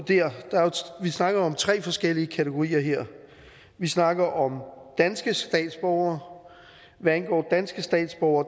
vi snakker om tre forskellige kategorier her vi snakker om danske statsborgere hvad angår danske statsborgere